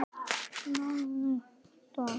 Síðustu árin